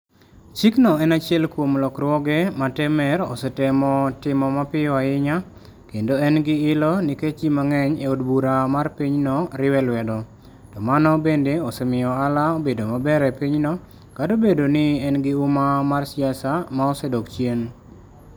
Chikno en achiel kuom lokruoge ma Temer osetemo timo mapiyo ahinya, kendo en gi ilo nikech ji mang'eny e od bura mar pinyno riwe lwedo, to mano bende osemiyo ohala obedo maber e pinyno, kata obedo ni en gi huma mar siasa ma osedok chien.